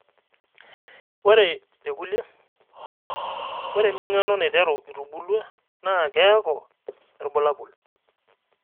ore tekulie, ore eming'ano naiteru itubulua naa keeku irbulabol.